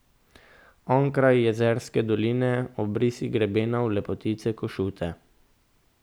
Onkraj jezerske doline obrisi grebenov lepotice Košute.